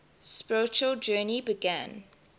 spiritual journey began